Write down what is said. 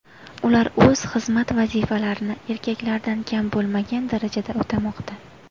Ular o‘z xizmat vazifalarini erkaklardan kam bo‘lmagan darajada o‘tamoqda.